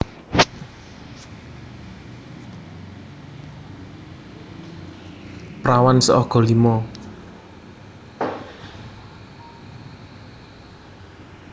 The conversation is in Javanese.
Prawan seaga lima